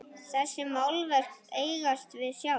Þessi málverk eigast við sjálf.